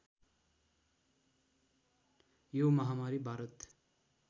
यो महामारी भारत